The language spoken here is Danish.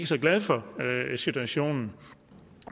så glad for situationen